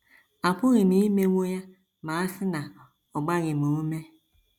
Apụghị m imewo ya ma a sị na ọ gbaghị m ume.